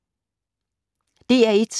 DR1